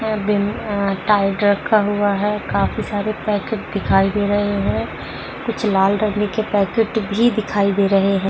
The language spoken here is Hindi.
और बिन अ टाइड रखा हुआ है। काफी सारे पैकेट दिखाई दे रहे हैं। कुछ लाल रंग के पैकेट भी दिखाई दे रहे हैं।